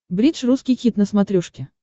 бридж русский хит на смотрешке